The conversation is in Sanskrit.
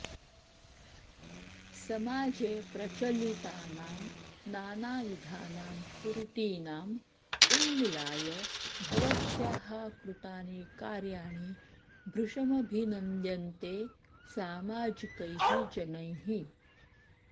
समाजे प्रचलितानां नानाविधानां कुरीतिनाम् उन्मूलनाय भवत्याः कृतानि कार्याणि भृशमभिनन्द्यन्ते सामाजिकैः जनैः